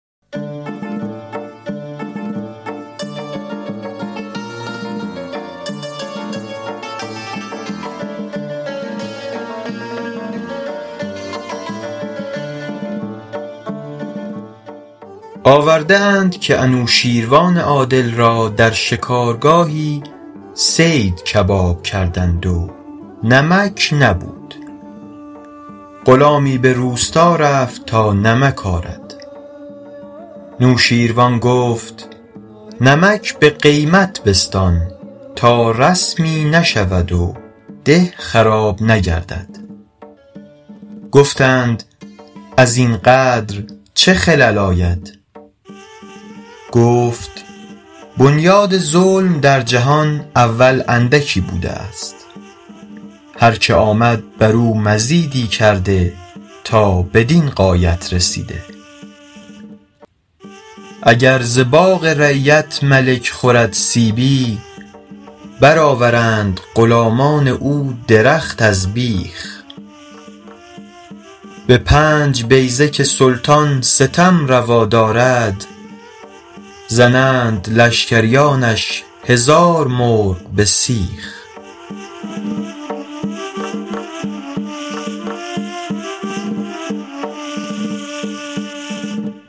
آورده اند که نوشین روان عادل را در شکارگاهی صید کباب کردند و نمک نبود غلامی به روستا رفت تا نمک آرد نوشیروان گفت نمک به قیمت بستان تا رسمی نشود و ده خراب نگردد گفتند از این قدر چه خلل آید گفت بنیاد ظلم در جهان اول اندکی بوده است هر که آمد بر او مزیدی کرده تا بدین غایت رسیده اگر ز باغ رعیت ملک خورد سیبی بر آورند غلامان او درخت از بیخ به پنج بیضه که سلطان ستم روا دارد زنند لشکریانش هزار مرغ به سیخ